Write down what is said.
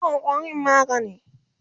sakawa ƙwarin magani!